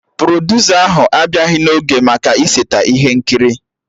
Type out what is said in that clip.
Produsa ahụ abịaghị n'oge maka ịseta ihe nkiri